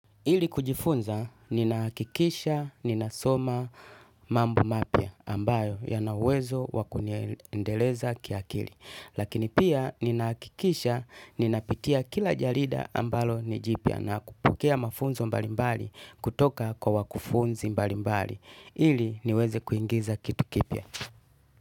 Ili kujifunza, ninahakikisha, ninasoma mambo mapya ambayo yanawezo wakuniendeleza kiakili. Lakini pia, ninahakikisha, ninapitia kila jarida ambalo ni jipya na kupokea mafunzo mbalimbali kutoka kwa wakufunzi mbalimbali. Ili, niweze kuingiza kitu kipya.